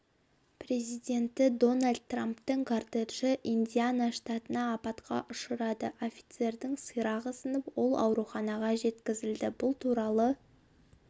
президенті дональд трамптың кортежі индиана штатында апатқа ұшырады офицердің сирағы сынып ол ауруханаға жеткізілді бұл туралы